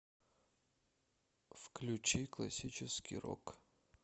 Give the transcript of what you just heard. включи классический рок